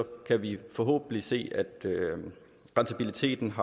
kan vi forhåbentlig se at rentabiliteten